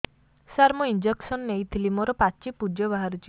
ସାର ମୁଁ ଇଂଜେକସନ ନେଇଥିଲି ମୋରୋ ପାଚି ପୂଜ ବାହାରୁଚି